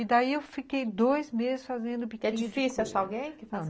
E daí eu fiquei dois meses fazendo... É difícil achar alguém que faça isso?